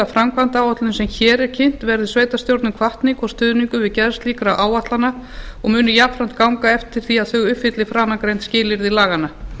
framkvæmdaáætlunin sem hér er kynnt verði sveitarstjórnum hvatning og stuðningur við gerð slíkra áætlana og mun jafnframt ganga eftir því að þau uppfylli framangreint skilyrði laganna